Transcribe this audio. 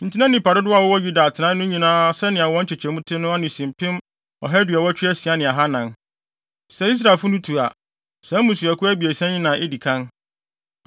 Enti na nnipa dodow a wɔwɔ Yuda atenae no nyinaa sɛnea wɔn nkyekyɛmu te no ano si mpem ɔha aduɔwɔtwe asia ne ahannan (186,400). Sɛ Israelfo no tu a, saa mmusuakuw abiɛsa yi na edi kan.